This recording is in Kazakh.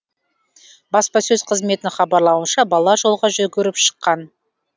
баспасөз қызметінің хабарлауынша бала жолға жүгіріп шыққан